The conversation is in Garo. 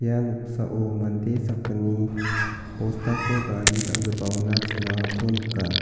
ia noksao mande sakgni bostako gari dal·gipaona chilangako nika.